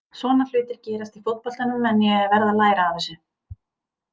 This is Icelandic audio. Svona hlutir gerast í fótboltanum en ég verð að læra af þessu.